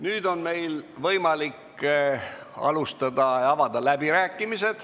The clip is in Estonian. Nüüd on meil võimalik alustada läbirääkimisi.